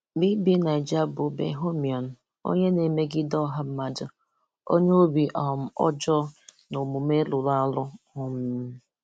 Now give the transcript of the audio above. BBNaija bụ Bohemian, onye na-emegide ọha mmadụ, onye obi um ọjọọ na omume rụrụ arụ. um